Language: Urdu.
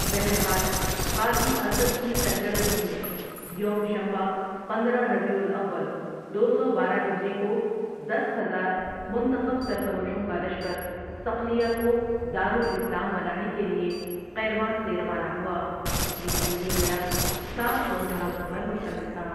بہر حال قاضی اسد کی سرگردگی میں یوم شنبہ پندرہ ربیع الاول دو سو بارہ ہجری کو دس ہزار منتخب سرفروشوں کا لشکر صقلیہ کو دارالاسلام بنانے کے لئے قیروان سے روانہ ہوا یہ جنگی بیڑا سات سو جہازوں پر مشتمل تھا ۔